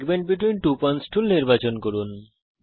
segment between two points tool নির্বাচন করুন